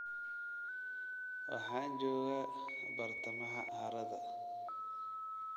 Waxaan joogaa bartamaha harada